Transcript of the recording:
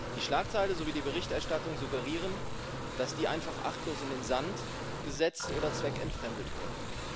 Die Schlagzeile sowie die Berichterstattung suggerieren, dass die einfach achtlos in den Sand gesetzt oder zweckentfremdet wurden.